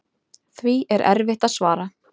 Því er erfitt að svara.